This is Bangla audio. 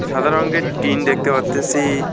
সাদা রঙ্গের টিন দেখতে পারতেসি।